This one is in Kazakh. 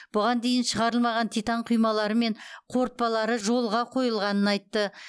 бұған дейін шығарылмаған титан құймалары мен қорытпалары жолғ қойылғанын айтты